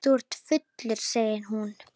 Þú ert fullur, segir hún.